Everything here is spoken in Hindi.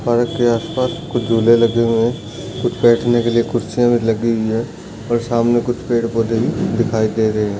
पार्क के आसपास कुछ झूले लगे हुए है कुछ बैठन के लिए कुर्सियां लगी हुई है और सामने कुछ पेड़ पौधे भी दिखाई दे रहे है।